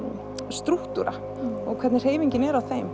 strúktúra og hvernig hreyfingin er á þeim